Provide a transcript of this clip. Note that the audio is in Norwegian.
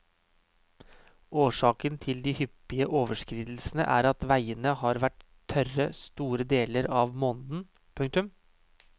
Årsaken til de hyppige overskridelsene er at veiene har vært tørre store deler av måneden. punktum